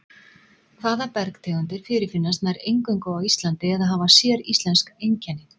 Hvaða bergtegundir fyrirfinnast nær eingöngu á Íslandi eða hafa séríslensk einkenni?